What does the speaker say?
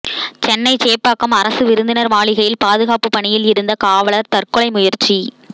சென்னை சேப்பாக்கம் அரசு விருந்தினர் மாளிகையில் பாதுகாப்பு பணியில் இருந்த காவலர் தற்கொலை முயற்சி